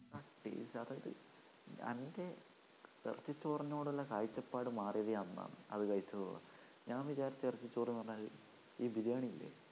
അതായത് എൻ്റെ ഇറച്ചിച്ചോറിനോടുള്ള കാഴ്ചപ്പാട് മാറിയാതെ അന്നാണ് അത് കഴിച്ചത് മുതൽ ഞാൻ വിചാരിച്ചു ഇറച്ചി ചോറ്ന്ന് പറഞ്ഞാൽ ഈ ബിരിയാണി ഇല്ലേ